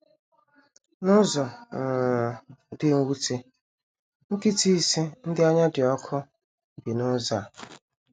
N’ụzọ um dị mwute, nkịta ise ndị anya dị ọkụ bi n’ụzọ a.